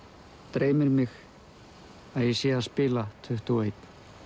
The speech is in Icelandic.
dreymir mig að ég sé að spila tuttugu og eitt